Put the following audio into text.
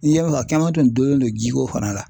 N'i y'a a caman tun dulonnen don jiko fana la .